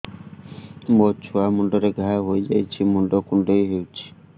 ମୋ ଛୁଆ ମୁଣ୍ଡରେ ଘାଆ ହୋଇଯାଇଛି ମୁଣ୍ଡ କୁଣ୍ଡେଇ ହେଉଛି